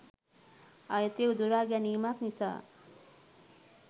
අයිතිය උදුරා ගැනීමක් නිසා.